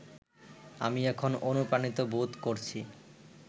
আমি এখন অনুপ্রাণিত বোধ করছি